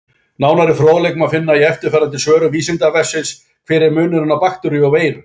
Nánari fróðleik má finna í eftirfarandi svörum Vísindavefsins: Hver er munurinn á bakteríu og veiru?